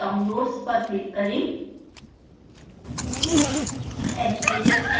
बायीं तरफ downloads पर क्लिक करें